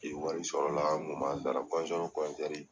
Ni wari sɔrɔ la , an kun b'a sara